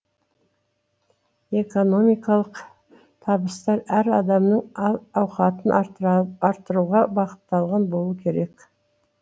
экономикалық табыстар әр адамның әл ауқатын арттыруға бағытталған болу керек